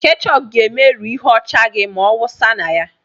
Ketchup ga-emerụ ihe ọcha gị ma awụsa ya na ya.